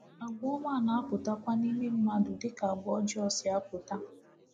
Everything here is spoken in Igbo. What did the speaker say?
Àgwà ọma na-apụtakwa n’ime mmadụ, dịka àgwà ọjọọ si apụta.